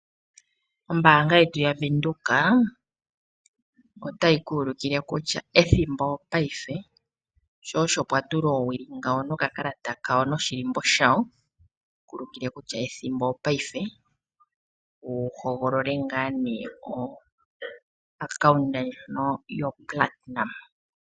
Ombaanga yetu yaVenduka otayi ki ulukile kutya ethimbo opayife ,sho osho pwatulwa oowili nokakalata noshilimbo shawo yeku ulukile kutya ethimbo opayifequ hogolole ngaa nee epandja ndono lyo platinum